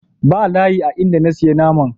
Ba layi a in da na siya naman.